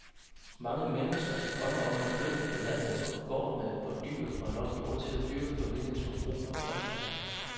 Mange mennesker drømmer om at flytte på landet på en gård med et par dyr og nok jord til at dyrke familiens forbrug af grøntsager.